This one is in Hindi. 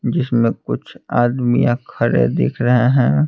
जिसमें कुछ आदमियां खड़े दिख रहे हैं।